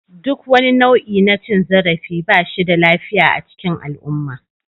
Duk wani nau'i na cin zarafi ba shi da lafiya a cikin al'umma.